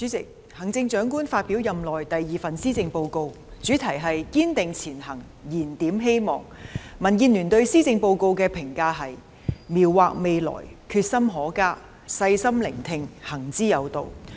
主席，行政長官發表任內第二份施政報告，主題是"堅定前行燃點希望"，民主建港協進聯盟對施政報告的評價是："描劃未來，決心可嘉；細心聆聽，行之有道"。